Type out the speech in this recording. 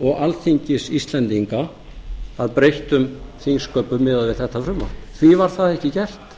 og alþingis íslendinga að breyttum þingsköpum miðað við þetta frumvarp því var það ekki gert